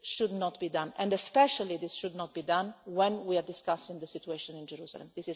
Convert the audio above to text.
this. This should not be done, and especially this should not be done when we are discussing the situation in Jerusalem.